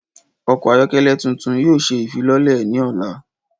Ọkọ ayọkẹlẹ tuntun yoo ṣe ifilọlẹ ni ọla.